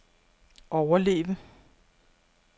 overleve